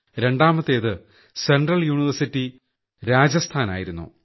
രണ്ടാമത്തേത് central university രാജസ്ഥാനായിരുന്നു